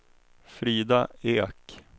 Frida Ek